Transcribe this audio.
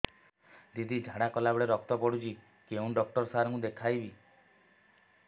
ଦିଦି ଝାଡ଼ା କଲା ବେଳେ ରକ୍ତ ପଡୁଛି କଉଁ ଡକ୍ଟର ସାର କୁ ଦଖାଇବି